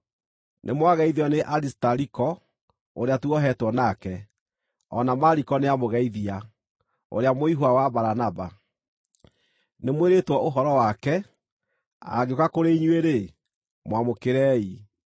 Nĩmwageithio nĩ Arisitariko ũrĩa tuohetwo nake, o na Mariko nĩamũgeithia, ũrĩa mũihwa wa Baranaba. (Nĩmwĩrĩtwo ũhoro wake; angĩũka kũrĩ inyuĩ-rĩ, mwamũkĩrei.)